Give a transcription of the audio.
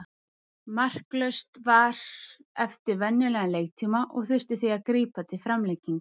Markalaust var eftir venjulegan leiktíma og þurfti því að grípa til framlengingar.